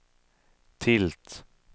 tilt